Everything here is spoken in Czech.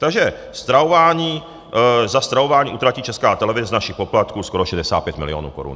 Takže za stravování utratí Česká televize z našich poplatků skoro 65 milionů korun.